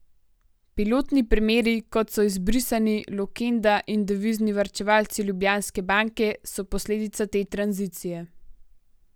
Pilotni primeri, kot so izbrisani, Lukenda in devizni varčevalci Ljubljanske banke, so posledica te tranzicije.